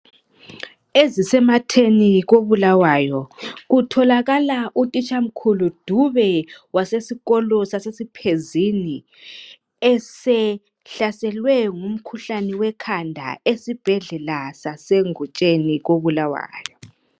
Ezisematheni koBulawayo, kutholakala utitshamkhulu Dube wasesikolo saseSiphezini esehlaselwe ngumkhuhlani wekhanda esibhedlela saseNgutsheni koBulawayo.